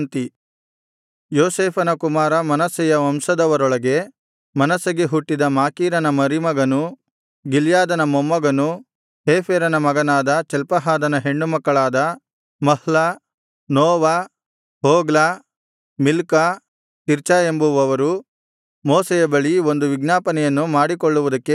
ಯೋಸೇಫನ ಕುಮಾರ ಮನಸ್ಸೆಯ ವಂಶದವರೊಳಗೆ ಮನಸ್ಸೆಗೆ ಹುಟ್ಟಿದ ಮಾಕೀರನ ಮರಿಮಗನೂ ಗಿಲ್ಯಾದನ ಮೊಮ್ಮಗನೂ ಹೇಫೆರನ ಮಗನಾದ ಚಲ್ಪಹಾದನ ಹೆಣ್ಣುಮಕ್ಕಳಾದ Mahlah Noah Hoglah Milcah Tirzah ಎಂಬುವವರು ಮೋಶೆಯ ಬಳಿ ಒಂದು ವಿಜ್ಞಾಪನೆಯನ್ನು ಮಾಡಿಕೊಳ್ಳುವುದಕ್ಕೆ ಬಂದರು